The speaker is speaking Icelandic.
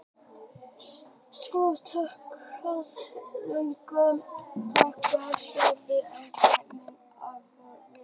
Svo stakk Ásgeir sprautunál í handlegg minn og hóf að tala við mig mjúkum rómi.